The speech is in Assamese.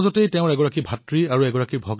তেওঁলোকৰ পৰিয়াললৈ যেন সমস্যাৰ পাহাৰ নামি আহিল